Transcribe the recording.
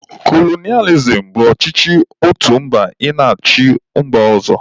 Kolonịalizim bụ ọchịchị otu mba ị na-achị mba ọzọ